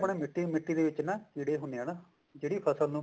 ਮਿੱਟੀ ਮਿੱਟੀ ਦੇ ਵਿੱਚ ਜਿਹੜੇ ਹੁੰਦੇ ਆ ਨਾ ਜਿਹੜੀ ਫਸਲ ਨੂੰ